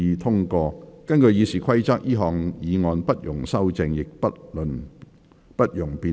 根據《議事規則》，這項議案不容修正，亦不容辯論。